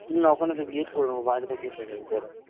না ওখানে তো gate করে নেব বাইরে তো gate হয়ে যাবে